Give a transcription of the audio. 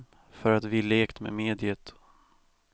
För att vi lekt med mediet.